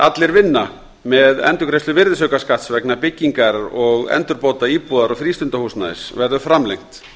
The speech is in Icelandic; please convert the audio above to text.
allir vinna með endurgreiðslu virðisaukaskatts vegna byggingar og endurbóta íbúðar og frístundahúsnæðis verður framlengt